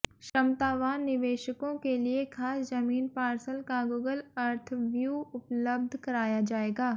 क्षमतावान निवेशकों के लिए खास जमीन पार्सल का गूगल अर्थ व्यू उपलब्ध कराया जाएगा